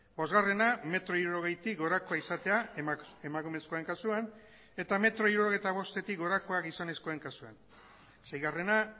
bosgarrena metro hirurogeitik gorakoa izatea emakumezkoen kasuan eta metro hirurogeita bostetik gorakoak gizonezkoen kasuan seigarrena